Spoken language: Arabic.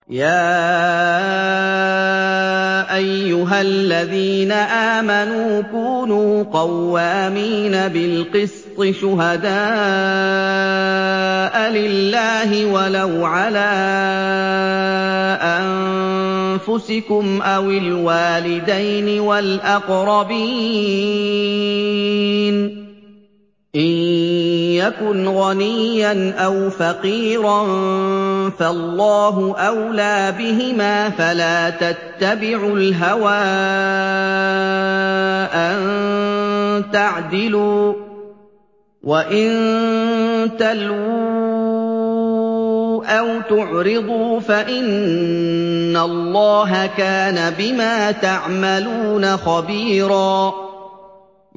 ۞ يَا أَيُّهَا الَّذِينَ آمَنُوا كُونُوا قَوَّامِينَ بِالْقِسْطِ شُهَدَاءَ لِلَّهِ وَلَوْ عَلَىٰ أَنفُسِكُمْ أَوِ الْوَالِدَيْنِ وَالْأَقْرَبِينَ ۚ إِن يَكُنْ غَنِيًّا أَوْ فَقِيرًا فَاللَّهُ أَوْلَىٰ بِهِمَا ۖ فَلَا تَتَّبِعُوا الْهَوَىٰ أَن تَعْدِلُوا ۚ وَإِن تَلْوُوا أَوْ تُعْرِضُوا فَإِنَّ اللَّهَ كَانَ بِمَا تَعْمَلُونَ خَبِيرًا